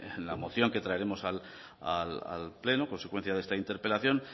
en la moción que traeremos al pleno consecuencia de esta interpelación